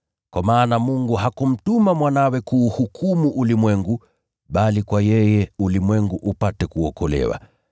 Kwa maana Mungu hakumtuma Mwanawe kuuhukumu ulimwengu, bali kupitia kwake ulimwengu upate kuokolewa.